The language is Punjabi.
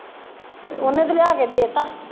ਤੇ ਉਹਨੇ ਤੇ ਲਿਆ ਕੇ ਦੇ ਤਾ